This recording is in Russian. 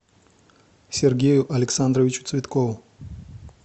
сергею александровичу цветкову